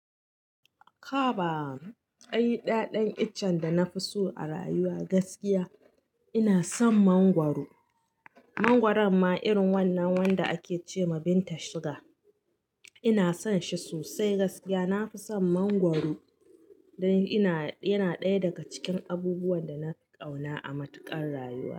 Haba ai da dan ichen da nafi so a rayuwa gaskiya inasan mangwaro mangwaron ma irin wannan wanda ake ce ma binta shoga. Ina son shi sosai gaskiya. Na fi son mangwaro dan yana ɗaya daga cikin abubuwan da na kauna a matuƙar rayuwa.